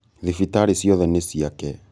thibitarĩ ciothe nĩ ciake